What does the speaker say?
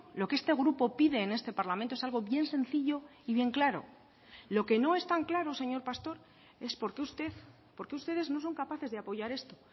lo que este grupo pide en este parlamento es algo bien sencillo y bien claro lo que no es tan claro señor pastor es por qué usted por qué ustedes no son capaces de apoyar esto